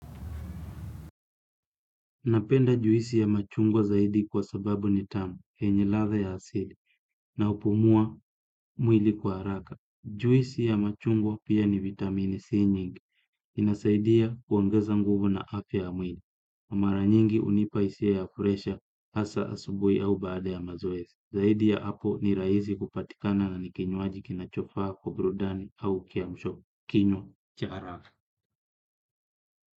Napenda juisi ya machungwa zaidi kwa sababu ni tamu, yenye ladha ya asili, na hupumua mwili kwa haraka. Juisi ya machungwa pia ni vitamini C nyingi, inasaidia kuongeza nguvu na afya ya mwili. Mara nyingi hunipa hisia ya presha, hasa asubuhi au baada ya mazoezi. Zaidi ya hapo ni rahisi kupatikana na ni kinywaji kinachofaa kwa burudani au kiamsho kinywa cha haraka.